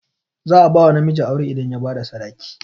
Za a bawa namiji aure idan ya bada sadaki